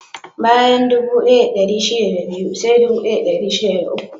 Bayan dubu ɗaya da ɗari shida da biyu, sai dubu ɗaya da dari shida da uku.